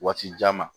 Waati jan ma